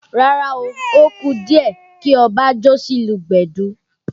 Rárá o, ó kù díẹ̀ kí Ọba jó sí ìlù gbẹ̀du